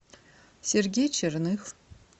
сергей черных